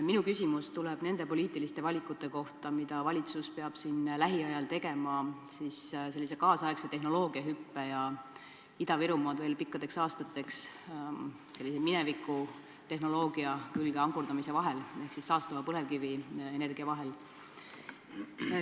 Minu küsimus tuleb nende poliitiliste valikute kohta, mida valitsus peab siin lähiajal tegema kaasaegse tehnoloogilise hüppe ja Ida-Virumaad veel pikkadeks aastateks minevikutehnoloogia külge ankurdamise ehk siis saastava põlevkivienergia vahel.